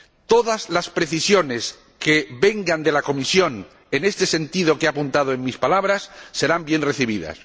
Todas las precisiones que vengan de la Comisión en este sentido que he apuntado en mis palabras serán bien recibidas.